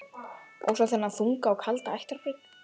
Og svo þennan þunga og kalda ættargrip.